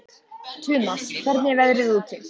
Tumas, hvernig er veðrið úti?